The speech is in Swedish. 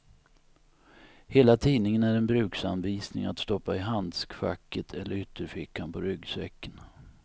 Hela tidningen är en bruksanvisning att stoppa i handskfacket eller ytterfickan på ryggsäcken.